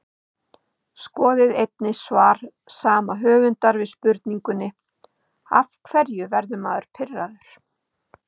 Skoðið einnig svar sama höfundar við spurningunni Af hverju verður maður pirraður?